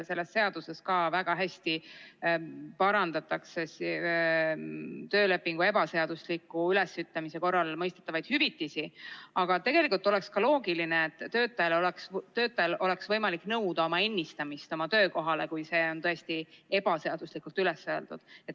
Selles seaduses parandatakse küll väga hästi töölepingu ebaseadusliku ülesütlemise korral mõistetavaid hüvitisi, aga tegelikult oleks ka loogiline, et töötajal oleks võimalik nõuda töökohale ennistamist, kui see on tõesti ebaseaduslikult üles öeldud.